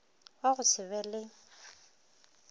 wa go se be le